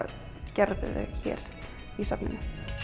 gerði þau hér í safninu